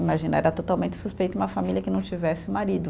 Imagina, era totalmente suspeito uma família que não tivesse marido.